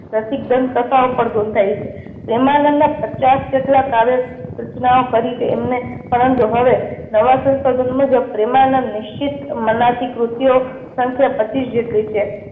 રસિક દંત કથાઓ પણ ગૂંથાઈ છે. પ્રેમાનંદ ના પચાસ જેટલા કાવ્ય રચનાઓ કરી છે એમને પરંતુ હવે નવા સંશોધન મુજબ પ્રેમાનંદ નિશ્ચિત મનાતી કૃતિ ઓ સંખ્યા પચીસ જેટલી છે.